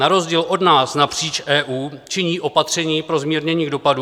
Na rozdíl od nás napříč EU činí opatření pro zmírnění dopadů.